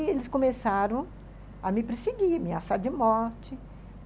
Aí eles começaram a me perseguir, ameaçar de morte.